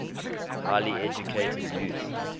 highly educated youth